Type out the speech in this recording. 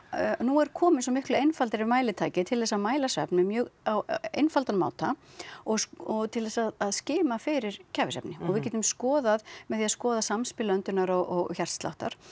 nú er komið svo miklu einfaldari mælitæki til þess að mæla svefn með mjög á einfaldan máta og og til þess að skima fyrir kæfisvefni og við getum skoðað með því að skoða samspil öndunar og hjartsláttar